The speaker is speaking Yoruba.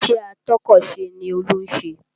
Ìṣe atọ́kọ̀sè ni Olú ń ṣe